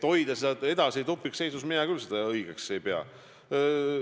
Hoida seda edasi tupikseisus – mina küll seda õigeks ei pea.